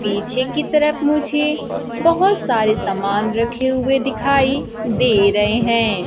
पीछे की तरफ मुझे बहोत सारे सामान रखे हुए दिखाई दे रहे हैं।